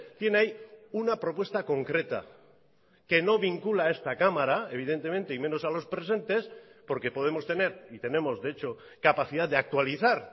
tiene ahí una propuesta concreta que no vincula a esta cámara evidentemente y menos a los presentes porque podemos tener y tenemos de hecho capacidad de actualizar